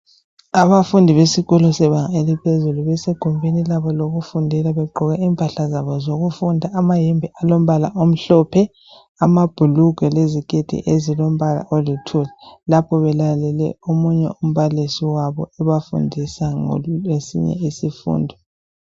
Abafundi besikolo sebanga eliphezulu begumbini labo lokufundela begqoke impahla zabo zokufunda amayembe alombala omhlophe amabhulugwe leziketi ezilompala olithuli lapho belalele omunye umbalisi wabo ebafundisa ngesinye isifundo.